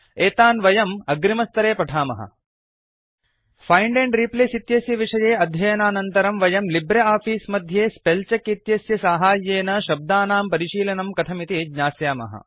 एतान् वयम् अग्रिमस्तरे पठामः फाइण्ड एण्ड रिप्लेस इत्यस्य विषये अध्ययनानन्तरं वयं लिब्रे आफीस् मध्ये स्पेलचेक इत्यस्य साहाय्येन शब्दानां परिशीलनं कथमिति ज्ञास्यामः